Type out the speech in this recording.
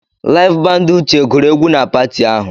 Laịf bandị Uche gụrụ egwu na pati ahụ.